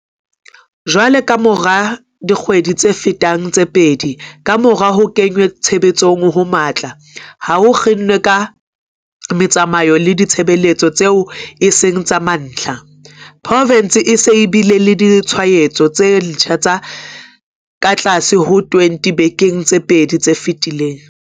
Jwale, kamora dikgwedi tse fetang tse pedi kamora ho kenngwa tshebetsong ho matla ha ho kginwa ha metsamao le ditshebeletso tseo e seng tsa mantlha, provense e se e bile le ditshwaetso tse ntjha tse katlase ho 20 dibekeng tse pedi tse fetileng.